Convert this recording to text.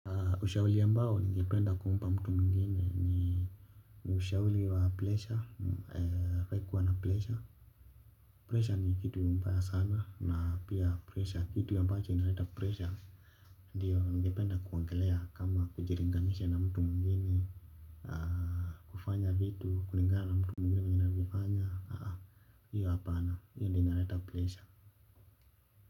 Ushauri ambao ningependa kumpa mtu mwingine. Ushauri wa pressure, hafai pressure. Pressure ni kitu mbaya sana na pia pressure, kitu ambacho inaleta pressure. Ndiyo, ningependa kuongelea kama kujilinganisha na mtu mwingine. Kufanya vitu, kulingana na mtu mwengine vile anavyofanya. Iyo hapana, hiyo ndiyo inaleta pressure.